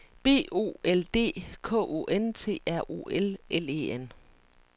B O L D K O N T R O L L E N